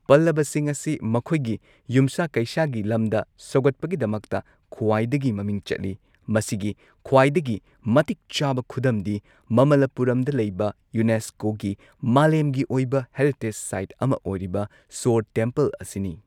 ꯄꯜꯂꯕꯁꯤꯡ ꯑꯁꯤ ꯃꯈꯣꯏꯒꯤ ꯌꯨꯝꯁꯥ ꯀꯩꯁꯥꯒꯤ ꯂꯝꯗ ꯁꯧꯒꯠꯄꯒꯤꯗꯃꯛꯇ ꯈ꯭ꯋꯥꯏꯗꯒꯤ ꯃꯃꯤꯡ ꯆꯠꯂꯤ, ꯃꯁꯤꯒꯤ ꯈ꯭ꯋꯥꯏꯗꯒꯤ ꯃꯇꯤꯛ ꯆꯥꯕ ꯈꯨꯗꯝꯗꯤ ꯃꯃꯜꯂꯥꯄꯨꯔꯝꯗ ꯂꯩꯕ ꯌꯨꯅꯦꯁꯀꯣꯒꯤ ꯃꯥꯂꯦꯝꯒꯤ ꯑꯣꯏꯕ ꯍꯦꯔꯤꯇꯦꯖ ꯁꯥꯏꯠ ꯑꯃ ꯑꯣꯏꯔꯤꯕ ꯁꯣꯔ ꯇꯦꯝꯄꯜ ꯑꯁꯤꯅꯤ꯫